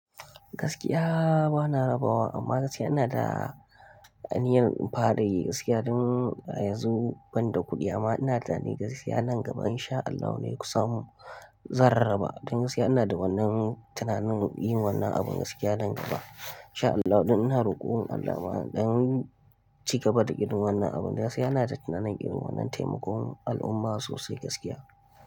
Gaskiya bana rabawa amma gaskiya ina da aniyan in fara yi gaskiya don ayanzo ban da kuɗi amma ina da tunani gaskiya nan gaba insha Allahu ne kusam zanrraba. Don gaskiya ina da wannan tunanin yin wannan abun gaskiya nan gaba insha Allahu. Ina roƙon Allah ma don ci gaba da irin wannan abun. Gaskiya ina da tunanin irin wannan taimakon al'umma sosai gaskiya.